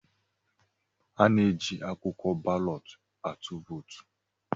Ana-eji akwụkwọ balọt atụ vootu.